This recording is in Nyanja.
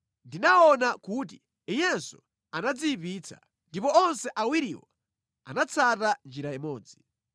Ndinaona kuti iyenso anadziyipitsa; ndipo onse awiriwo anatsata njira imodzi.